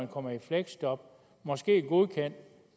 kommer i fleksjob måske godkendt